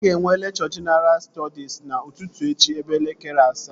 Aga enwe lekchọ jenaral stọdis n'ụtụtụ echi ebe elekere asaa